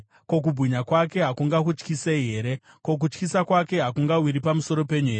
Ko, kubwinya kwake hakungakutyisei here? Ko, kutyisa kwake hakungawiri pamusoro penyu here?